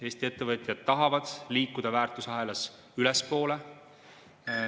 Eesti ettevõtjad tahavad liikuda väärtusahelas ülespoole.